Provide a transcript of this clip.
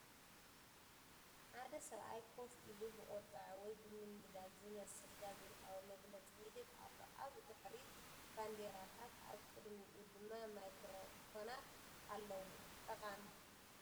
ሓደ ሰብኣይ ኮፍ ኢሉ ብቁጠዐ ወይ ብምንዳድ ዝመስል ጋዜጣዊ መግለጺ ይህብ ኣሎ። ኣብ ድሕሪት ባንዴራታት ኣብ ቅድሚኡ ድማ ማይክሮፎናት ኣለዋ። ጠቃሚ!